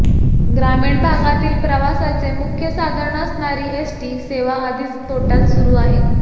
ग्रामीण भागातील प्रवासाचे मुख्य साधन असणारी एसटी सेवा आधीच तोटय़ात सुरू आहे